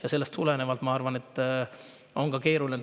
Ja sellest tulenevalt, ma arvan, on see keeruline.